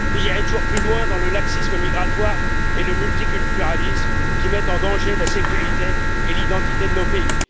Vous irez toujours plus loin dans le laxisme migratoire et le multiculturalisme, qui mettent en danger la sécurité et l'identité de nos pays.